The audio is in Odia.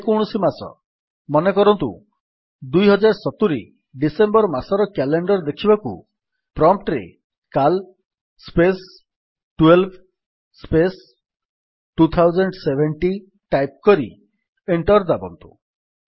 ଯକୌଣସି ମାସ ମନେକରନ୍ତୁ 2070 ଡିସେମ୍ବର୍ ମାସର କ୍ୟାଲେଣ୍ଡର୍ ଦେଖିବାକୁ ପ୍ରମ୍ପ୍ଟ୍ ରେ କାଲ୍ ସ୍ପେସ୍ 12 ସ୍ପେସ୍ 2070 ଟାଇପ୍ କରି ଏଣ୍ଟର୍ ଦାବନ୍ତୁ